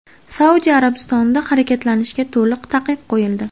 Saudiya Arabistonida harakatlanishga to‘liq taqiq qo‘yildi.